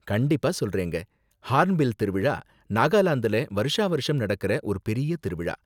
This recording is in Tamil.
கண்டிப்பா சொல்றேங்க! ஹார்ன் பில் திருவிழா நாகாலாந்துல வருஷாவருஷம் நடக்குற ஒரு பெரிய திருவிழா.